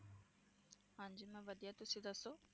ਹਾਂਜੀ ਮੈ ਵਧੀਆ, ਤੁਸੀਂ ਦੱਸੋ?